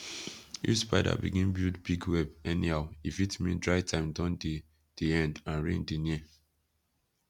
if spider begin build big web anyhow e fit mean dry time don dey dey end and rain dey near